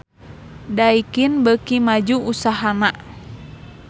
Daikin beuki maju usahana